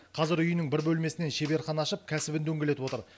қазір үйінің бір бөлмесінен шеберхана ашып кәсібін дөңгелетіп отыр